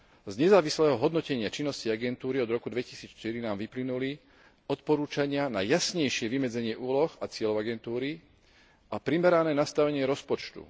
Z nezávislého hodnotenia činnosti agentúry od roku 2004 nám vyplynuli odporúčania na jasnejšie vymedzenie úloh a cieľov agentúry a primerané nastavenie rozpočtu.